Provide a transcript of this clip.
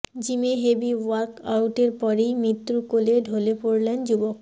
জিমে হেভি ওয়ার্ক আউটের পরেই মৃত্যুর কোলে ঢলে পড়লেন যুবক